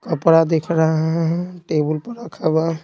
कपड़ा दिख रहा है टेबुल पर रखा हुआ।